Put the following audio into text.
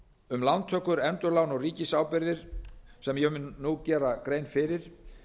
um lántökur endurlán og ríkisábyrgðir sem ég mun nú gera grein fyrir